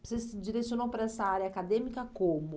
Você se direcionou para essa área acadêmica como?